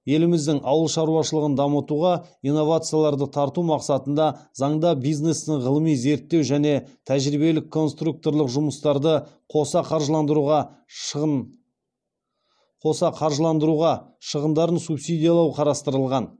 еліміздің ауыл шаруашылығын дамытуға инновацияларды тарту мақсатында заңда бизнестің ғылыми зерттеу және тәжірибелік конструкторлық жұмыстарды қоса қаржыландыруға шығындарын субсидиялау қарастырылған